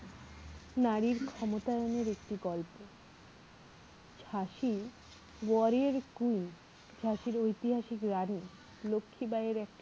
নারীর ক্ষমতা একটা গল্প ঝাঁসি warrior queen ঝাঁসির ঐতিহাসিক রানী লক্ষীবাঈ এর একটি